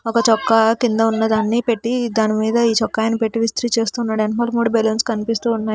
ఒక చొక్కా కింద ఉన్నది అన్నీ పెట్టీ దాని మీద ఈ చొక్కాయిని పెట్టీ విస్త్రీ చేస్తున్నాడు వెనకాల మూడు బెలూన్స్ కనిపిస్తూ ఉన్నాయి.